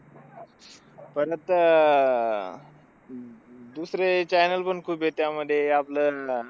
पण आता आह दुसरे channel पण खूप येतं आम्हाला. आपल्यानं